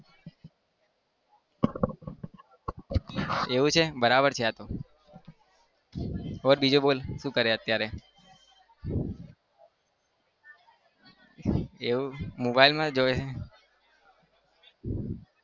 એવું છે બરાબર છે હા તો. બોલ બીજું બોલ શું કરે અત્યારે? એવું mobile માં જોવે છે